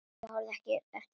Ég horfi ekki eftir þér.